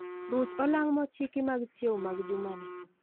Ruch olang' mochiki mag chiew mag juma ni